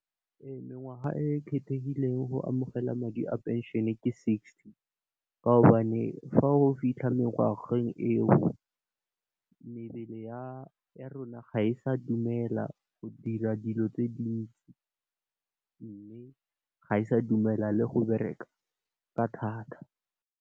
Mengwaga e kgethegileng go amogela madi a pension, ke sixty. Ka gobane fa o fitlha mengwageng eo, mebele ya rona ga e sa dumela go dira dilo tse dintsi mme, ga e sa dumela le go bereka ka thata.